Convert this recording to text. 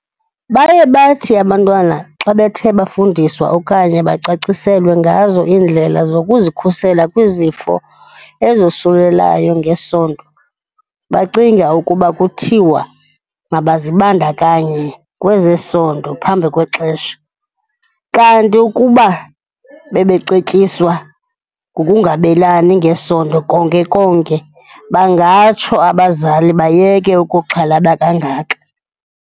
Baye bathi abantwana xa bethe bafundiswa okanye bacaciselwe ngazo iindlela zokuzikhusela kwizifo ezosulelayo ngesondo, bacinge ukuba kuthiwa mabazibandakanye kwezesondo phambe kwexesha. Kanti ukuba bebecetyiswa ngokungabelani ngesondo konke konke, bangatsho abazali bayeke ukuxhalaba kangaka.